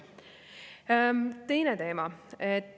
Teine teema.